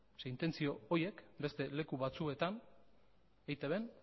zeren intentzio horiek beste leku batzuetan eitbn